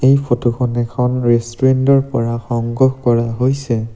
এই ফটোখন এখন ৰেষ্টুৰেণ্টৰ পৰা সংগ্ৰহ কৰা হৈছে।